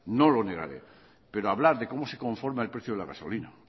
no lo negaré pero hablar de cómo se conforma el precio de la gasolina